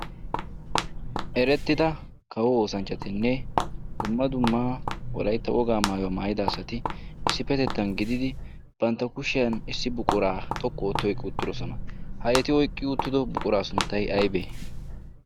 erettida kawo oosanchchatinne dumma dummaa wolaitta wogaa maayuwaa maayida asati issippetettan gididi bantta kushiyan issi buquraa xoqqu ootti oiqqi uttidosona. ha eti oiqqi uuttido buquraa sunttai aibee?